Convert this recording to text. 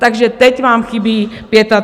Takže teď vám chybí 35 miliard.